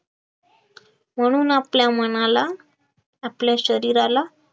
म्हणून आपल्या मनाला आपल्या शरीराला